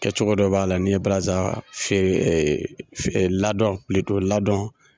Kɛcogo dɔ b'a la n'i ye balaza fe ee fe ladɔn pilito ladɔn